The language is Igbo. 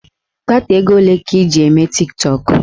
Data ego ole ka ị na-eji eme tiktọk?